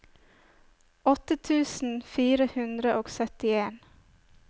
åtte tusen fire hundre og syttien